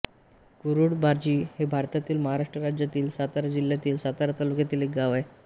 कुरूळबाजी हे भारतातील महाराष्ट्र राज्यातील सातारा जिल्ह्यातील सातारा तालुक्यातील एक गाव आहे